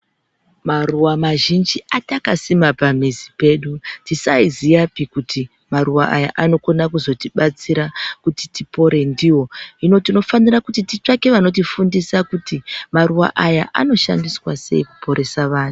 Maruva mazhinji atakasima pamuzi pedu atisaiziyapi kuti paruva aya anokona kuzotibatsira kuti tipore ndivo. Hino tinofanira kuti titsvake vanotifundisa kuti maruva aya anoshandiswa sei kuporesa vanhu.